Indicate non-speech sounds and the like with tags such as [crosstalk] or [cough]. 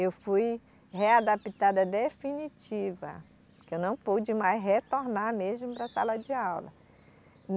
Eu fui readaptada definitiva, porque eu não pude mais retornar mesmo para a sala de aula. [unintelligible]